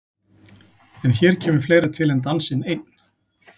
En hér kemur fleira til en dansinn einn.